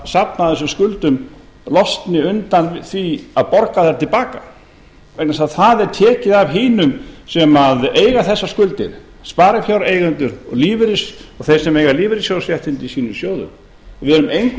safnað þessum skuldum losni undan því að borga þær til baka vegna þess að það er tekið af hinum sem eiga þessar skuldir sparifjáreigendum og þeim sem eiga lífeyrissjóðsréttindi í sínum sjóðum við erum engu